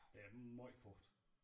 Der er meget fugt